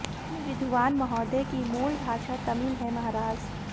इन विद्वान महोदय की मूल भाषा तमिल है महाराज